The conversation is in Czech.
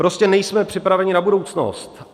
Prostě nejsme připraveni na budoucnost.